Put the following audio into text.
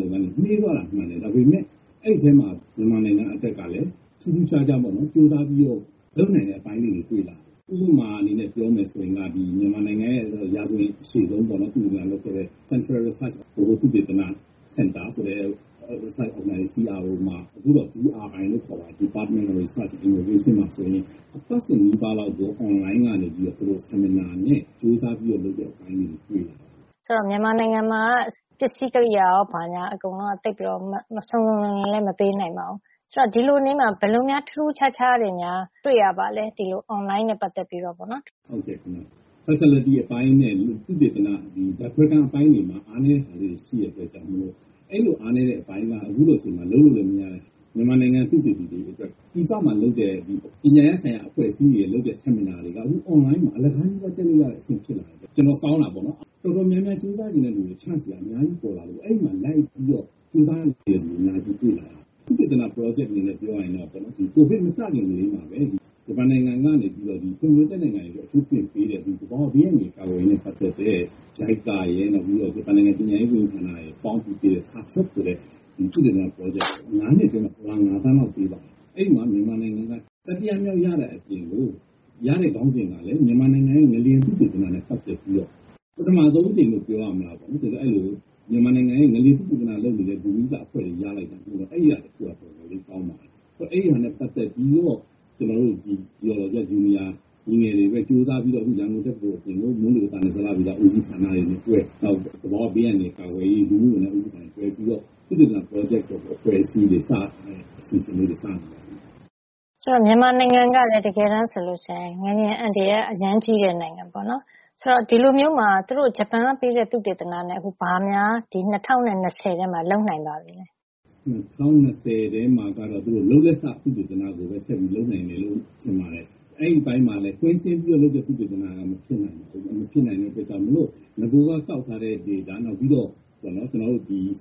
လုပ်ငန်းတွေ နှေးသွားတာ။ ဒါပေမယ့် အဲဒီထဲမှာ မြန်မာနိုင်ငံ အတွက်က ထူးထူးဆန်းဆန်းပဲ ကြိုးစားပြီးတော့ လုပ်လာနိုင်တဲ့ အပိုင်းလေးတွေ တွေ့လာရတယ်။ ဥပမာ အနေနဲ့ ပြောရရင် မြန်မာနိုင်ငံရဲ့ ရာဇဝင် အရှည်ဆုံး ပေါ့နော်။ သုတေသနလုပ်တဲ့ central research ဗဟိုသုတေသန စင်တာ CRO ဟာ အခုတော့ DRI လို့ခေါ်တာပေါ့နော်။ အဲဒီမှာ အပတ်စဉ်နီးပါးလောက်ပဲ အွန်လိုင်းကနေ seminar နဲ့တွေ့ဆုံဆွေးနွေးပွဲတွေ ကြိုးစားပြီးလုပ်တဲ့ အပိုင်းတွေ တွေ့ရပါတယ်။ မြန်မာနိုင်ငံမှာက သုတေသနအတွက် ပစ္စည်းကရိယာရော ကောင်းကောင်း မပေးနိုင်ပါဘူး။ ဒီလို အနေထားမှာ ဘယ်လိုထူးထူးခြားခြားတွေများ တွေ့ရပါသလဲ။ အွန်လိုင်းနဲ့ ပတ်သက်ပြီးတော့ပေါ့နော်။ ဟုတ်ကဲ့ခင်ဗျ။. Facility အပိုင်းနဲ့ သုတေသန ဓါတ်ခွဲခန်း အပိုင်းတွေမှာ အဲဒီလိုမျိုး အားနဲတာတွေ ရှိတဲ့အတွက်ကြောင့် အဲဒီလို အားနဲတဲ့ အပိုင်းက အခုချိန်မျိုးမှာ လုပ်လို့လည်း မရတဲ့ အတွက် မြန်မာနိုင်ငံသုတေသီ တွေ အတွက် ပြည်ပမှာ လုပ်တဲ့ ပညာရပ်ဆိုင်ရာ အဖွဲ့အစည်းတွေရဲ့ seminar တွေက အခု အွန်လိုင်းမှာ အလကား နီးပါး တက်လို့ရတဲ့ အဆင့် ဖြစ်လာတယ်။ တော်တော် ကောင်းတာပေါ့နော်။ တော်တော်များများ ကြိုးစားချင်တဲ့ လူတွေအတွက်က အခွင့်ရေးတွေ chance တွေ အများကြီး ပေါ်လာတယ်။ အဲဒီမှာ လိုက်ပြီးတော့ ကြိုးစားတဲ့ လူငယ်တွေ တွေ့လာရတယ်။ သုတေသန ပရောဂျက် အနေနဲ့ ပြောရရင်တော့ ဒီ ကိုဗစ် မစခင်ကတည်းကလည်း ဒီဂျပန်နိုင်ငံကနေပြီးတော့ ပုံမှန်ပြဿနာ တွေအတွက် အကူအညီပေးတဲ့ ဒီသဘာဝဘေးအန္တရာယ် ကာကွယ်ရေးနဲ့ ပတ်သက်တဲ့ JICA ရယ်၊ နောက် ဂျပန်ပညာရေးဝန်ကြီးဌာနရယ် ပေါင်းပြီးပေးတဲ့ JASTIP ဆိုတဲ့ သုတေသန ပရောဂျက်က ၅ နှစ်အတွင်းမှာ ဒေါ်လာ ၅ သန်းလောက် ပေးပါတယ်။ အဲဒီမှာ မြန်မာနိုင်ငံက တတိယမြောက် ရတဲ့အပြင်ကို ရတဲ့ ခေါင်းစဉ်ကလည်း မြန်မာနိုင်ငံရဲ ငလျင် သုတေသနနဲ့ ပတ်သက်ပြီးတော့ ပထမဆုံး အကြိမ်လို့ ပြောရမလား။ အခုဆို မြန်မာနိုင်ငံရဲ့ ငလျင်သုတေသနလုပ်နေတဲ့ အဖွဲ့တွေ အတွက် ရလိုက်တာ။ အဲဒီတခုကတော့ တော်တော်လေး ကောင်းပါတယ်။ ပြီးတော့ အဲဒါနဲ့ ပတ်သက်ပြီးတော့ ကျနော်တို့ရဲ့ လူငယ်တွေပဲ ကြိုးစားပြီးတော့ ရန်ကုန်တက္ကသိုလ် အပြင် မိုးလေဝဿနဲ့ ဇလဗေဒ ဦးစီးဌာနနဲ့တွဲ၊ နောက် သဘာဝ ဘေးအန္တရာယ် ကာကွယ်ရေး ၊ လူမှုဝန်ထမ်း ဦးစီးဌာန တွေနဲ့ တွဲပြီးတော့ သုတေသန ပရောဂျက် လုပ်တဲ့ အဖွဲ့အစည်းတွေ အစီအစဉ်လေးတွေ စလုပ်နေပါပြီ။ တကယ်ဆို မြန်မာနိုင်ငံကလည်း ငလျင်အန္တရာယ် အရမ်းကြီးတဲ့ နိုင်ငံပါ။ ဒီတော့ အခု ဂျပန်က ပေးတဲ့ အကူအညီနဲ့ ဒီ ၂၀၂၀ ထဲမှာ ဘာသုတေသနတွေ လုပ်နိုင်ပါပြီလဲ။ ၂၀၂၀ ထဲမှာကတော့ သူတို့ လုပ်လက်စ သုတေသနတွေပဲ ဆက်ပြီး လုပ်နိုင်မယ်လို့ထင်ပါတယ်။ အဲဒီအပိုင်းမှာလည်း ကွင်းဆင်းပြီးတော့ လုပ်တဲ့သုတေသနက မဖြစ်နိုင်တဲ့အတွက် ကြောင့်မို့လို့ နဂိုက ကောက်ထားတဲ့ data နောက်ပြီးတော့